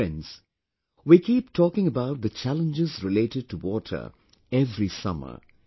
Friends, we keep talking about the challenges related to water every summer